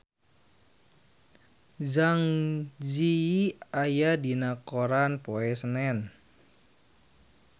Zang Zi Yi aya dina koran poe Senen